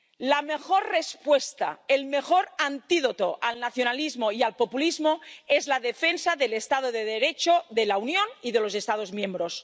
La mejor respuesta, el mejor antídoto para el nacionalismo y el populismo es la defensa del Estado de Derecho de la Unión y de los Estados miembros.